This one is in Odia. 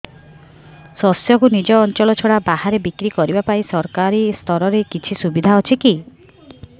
ଶସ୍ୟକୁ ନିଜ ଅଞ୍ଚଳ ଛଡା ବାହାରେ ବିକ୍ରି କରିବା ପାଇଁ ସରକାରୀ ସ୍ତରରେ କିଛି ସୁବିଧା ଅଛି କି